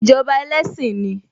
Ìjọba ẹlẹ́sìn ni